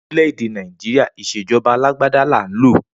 Ni orile-ede Naijiria ìṣejọba àlàgbàdà làhún lo.